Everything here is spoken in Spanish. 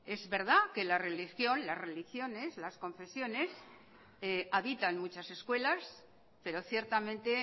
es verdad que la religión las religiones las confesiones habitan muchas escuelas pero ciertamente